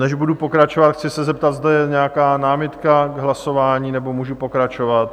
Než budu pokračovat, chci se zeptat, zda je nějaká námitka k hlasování, nebo můžu pokračovat?